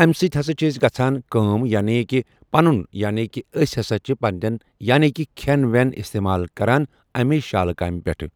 اَمہِ سۭتۍ ہَسا چھِ اَسہِ گژھان کٲم یعنی کہِ پَنُن یعنی کہِ أسۍ ہَسا چھِ پننٮ۪ن یعنی کہِ کھٮ۪ن وٮ۪ن استعمال کَران اَمے شالہٕ کامہِ پٮ۪ٹھٕ ۔